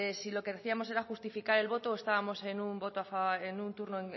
si lo que decíamos era justificar el voto o estábamos en un turno